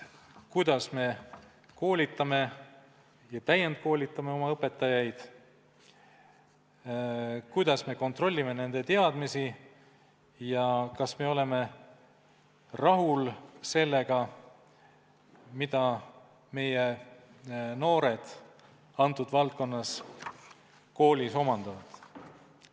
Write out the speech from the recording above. Kuidas me koolitame ja täiendame oma õpetajaid, kuidas me kontrollime nende teadmisi ja kas me oleme rahul sellega, mida meie koolinoored nimetatud valdkonnas omandavad?